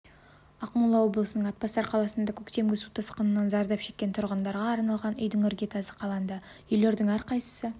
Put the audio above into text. ақмола облысының атбасар қаласында көктемгі су тасқынынан зардап шеккен тұрғындарға арналған үйдің іргетасы қаланды үйлердің әрқайсысы